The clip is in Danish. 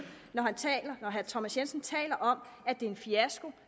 når herre thomas jensen taler om at det er en fiasko